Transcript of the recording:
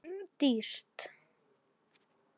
En það verður dýrt.